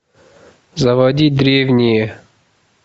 заводи древние